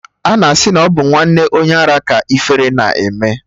Ana asị na ọ bụ nwanne onye ara ka ifere na-eme